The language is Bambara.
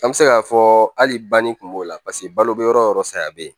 An bɛ se k'a fɔ hali banni kun b'o la paseke balo bɛ yɔrɔ o yɔrɔ saya bɛ yen